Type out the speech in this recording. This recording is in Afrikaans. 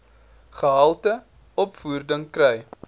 gehalte opvoeding kry